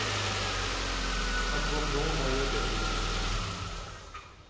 Akkurat nå har jeg bedre tid.